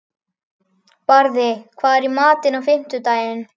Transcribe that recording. Barði, hvað er í matinn á fimmtudaginn?